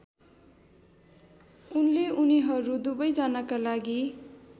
उनले उनीहरू दुवैजनाका लागि